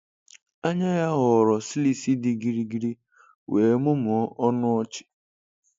Anya ya ghọrọ slits dị gịrịgịrị wee mụmụọ ọnụ ọchị.